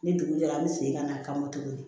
Ni dugu jɛra n bɛ segin ka n'a kama tuguni